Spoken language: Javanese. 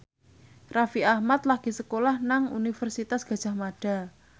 Raffi Ahmad lagi sekolah nang Universitas Gadjah Mada